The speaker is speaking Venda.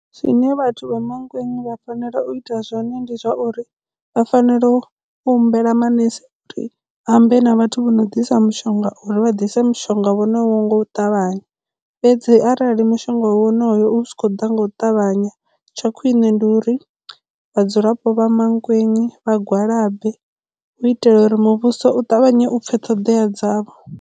Zwine vhathu vha Mankweng vha fanela u ita zwone ndi zwa uri vha fanela u u humbela manese uri a ambe na vhathu vho no ḓisa mushonga uri vha dise mishonga vhone ho nga u ṱavhanya fhedzi arali mushonga wonoyo u si khou ḓa nga u ṱavhanya tsha khwine ndi uri vhadzulapo vha Mankweng vha gwalabe hu u itela uri muvhuso u ṱavhanye u pfhe ṱhoḓea dzavho.